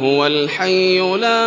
هُوَ الْحَيُّ لَا